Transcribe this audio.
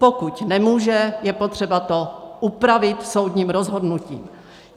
Pokud nemůže, je potřeba to upravit soudním rozhodnutím.